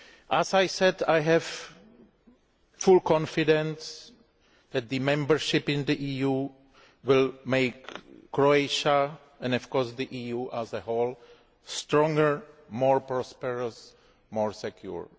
As I said, I have full confidence that membership of the EU will make Croatia, and of course the EU as a whole, stronger, more prosperous and more secure.